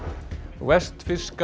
vestfirska